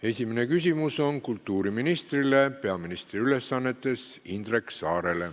Esimene küsimus on kultuuriministrile peaministri ülesannetes, Indrek Saarele.